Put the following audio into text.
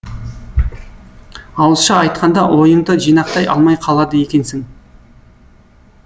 ауызша айтқанда ойыңды жинақтай алмай қалады екенсің